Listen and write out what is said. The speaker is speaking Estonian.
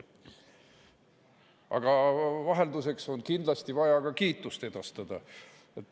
Aga vahelduseks on kindlasti vaja ka kiitust edastada.